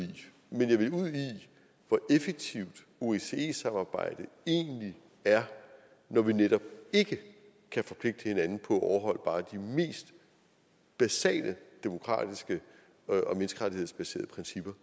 hvor effektivt osce samarbejdet egentlig er når vi netop ikke kan forpligte hinanden på at overholde bare de mest basale demokratiske og menneskerettighedsbaserede principper